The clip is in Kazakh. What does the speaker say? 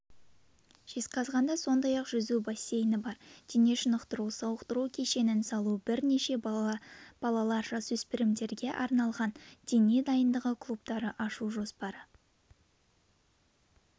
жезқазғанда сондай-ақ жүзу бассейні бар денешынықтыру-сауықтыру кешенін салу бірнеше балалар-жасөспірімдерге арналған дене дайындығы клубтары ашу жоспары